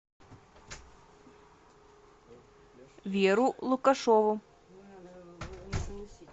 веру лукашову